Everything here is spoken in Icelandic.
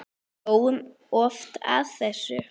Við hlógum oft að þessu.